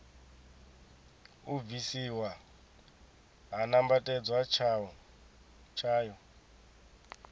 u bvisiwa ha nambatedzwa tswayo